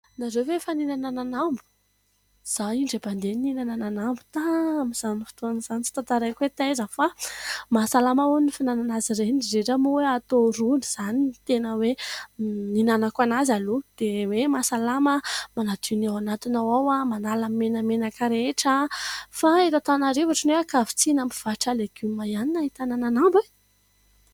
Ianareo ve efa nihinana ananambo ? Izaho indray mandeha nihinana ananambo tamin'izany fotoan'izany, tsy tantaraiko hoe taiza fa mahasalama hono ny fihinanana azy ireny, indrindra moa fa hatao rony, izany no tena hoe nihinanako anazy aloha dia hoe mahasalama; manadio ny ao anatinao ao, manala ny menamenaka rehetra fa eto Antananarivo otrany hoe ankavitsiana amin'ny mpivarotra legioma ihany no ahitana ananambo e ?